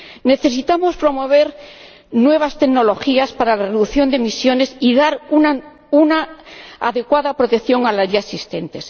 Necesitamos promover nuevas tecnologías para la reducción de emisiones y dar una adecuada protección a las ya existentes.